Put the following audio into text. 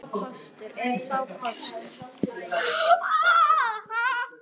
Er sá kostur tækur?